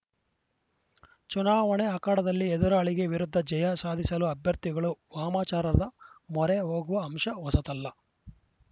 ಚುನಾವಣೆ ಅಖಾಡದಲ್ಲಿ ಎದುರಾಳಿಗೆ ವಿರುದ್ಧ ಜಯ ಸಾಧಿಸಲು ಅಭ್ಯರ್ಥಿಗಳು ವಾಮಾಚಾರದ ಮೊರೆ ಹೋಗುವ ಅಂಶ ಹೊಸತಲ್ಲ